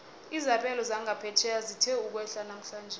izabelo zangaphetjheya zithe ukwehla namhlanje